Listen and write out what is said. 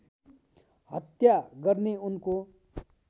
हत्या गर्ने उनको